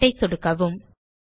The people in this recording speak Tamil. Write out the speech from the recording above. பேரண்ட் ஐ சொடுக்வும்